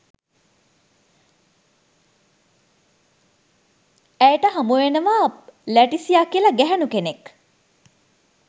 ඇයට හමුවෙනවා ලැටිසියා කියලා ගැහැණු කෙනෙක්